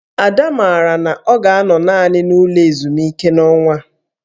Ada maara na ọ ga-anọ naanị n'ụlọ ezumike n'ọnwa a